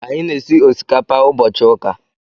Anyị na-esi osikapa ụbọchị ụka.